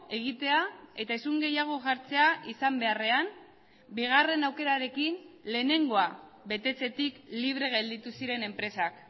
egitea eta isun gehiago jartzea izan beharrean bigarren aukerarekin lehenengoa betetzetik libre gelditu ziren enpresak